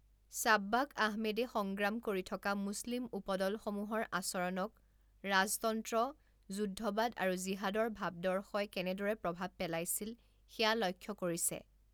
সাব্বাক আহমেদে সংগ্ৰাম কৰি থকা মুছলিম উপদলসমূহৰ আচৰণক ৰাজতন্ত্ৰ, যুদ্ধবাদ আৰু জিহাদৰ ভাবদৰ্শই কেনেদৰে প্ৰভাৱ পেলাইছিল সেয়া লক্ষ্য কৰিছে।